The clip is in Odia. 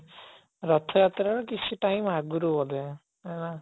ରଥଯାତ୍ରା ର କିଛି time ଆଗରୁ ବୋଧେ ଆଁ